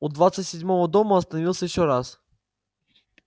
у двадцать седьмого дома остановился ещё раз